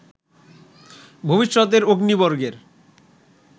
ভবিষ্যতের অগ্নি বর্গের